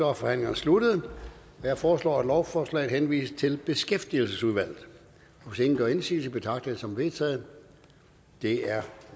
er forhandlingen sluttet jeg foreslår at lovforslaget henvises til beskæftigelsesudvalget hvis ingen gør indsigelse betragter jeg det som vedtaget det er